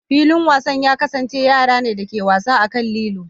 Filin wasan ya kasance yara ne da ke wasa a kan lilo.